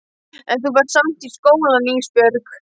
En þú ferð samt í skólann Ísbjörg.